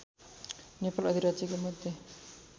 नेपाल अधिराज्यको मध्य